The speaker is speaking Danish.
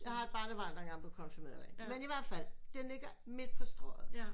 Jeg har der engang blev konfirmeret derinde men i hvert fald den ligger midt på Strøget